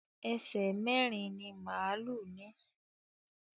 Èṣe mérin-ín ni málù ní.